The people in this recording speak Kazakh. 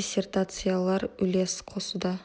диссретациялар үлес қосуда